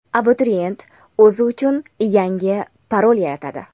abituriyent o‘zi uchun yangi parol yaratadi.